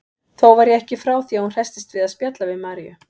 Þó var ég ekki frá því að hún hresstist við að spjalla við Maríu.